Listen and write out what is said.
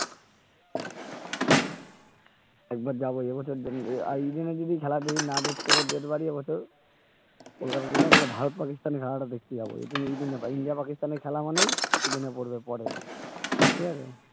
একবার যাবো যাবো ইডেন এ যদি খেলা দেখতে না পাই date বাড়িয়ে এই বছর কলকাতা যায়না তাহলে ভারত পাকিস্তানের খেলাটা দেখতে যাবো যদি ইডেন এ পাই ইন্ডিয়া পাকিস্তানের খেলা মানেই ইডেন এ পড়বে পরে ঠিক আছে